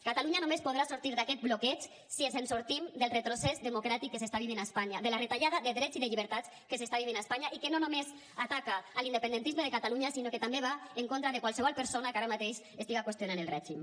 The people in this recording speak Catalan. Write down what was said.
catalunya només podrà sortir d’aquest bloqueig si ens en sortim del retrocés democràtic que s’està vivint a espanya de la retallada de drets i de llibertats que s’està vivint a espanya i que no només ataca l’independentisme de catalunya sinó que també va en contra de qualsevol persona que ara mateix estiga qüestionant el règim